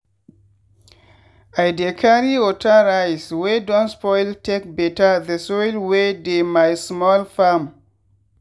i dey carry water rice wey don spoil take better the soil wey dey my small farm.